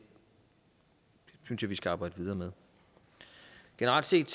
synes jeg vi skal arbejde videre med generelt set